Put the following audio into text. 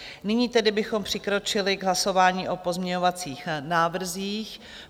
Nyní tedy bychom přikročili k hlasování o pozměňovacích návrzích.